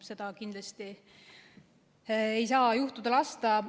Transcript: Seda kindlasti ei saa lasta juhtuda.